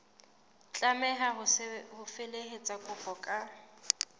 tlameha ho felehetsa kopo ka